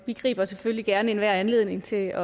vi griber selvfølgelig gerne enhver anledning til